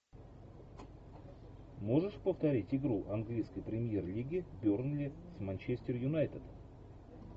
можешь повторить игру английской премьер лиги бернли с манчестер юнайтед